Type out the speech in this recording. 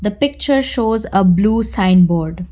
the picture shows uh blue sign board.